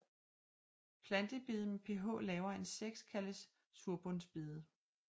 Plantebede med pH lavere end 6 kaldes surbundsbede